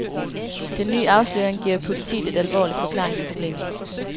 Den nye afsløring giver politiet et alvorligt forklaringsproblem.